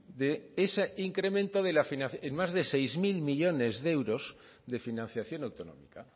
de ese incremento en más de seis mil millónes de euros de financiación autonómica